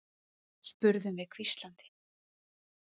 spurðum við hvíslandi.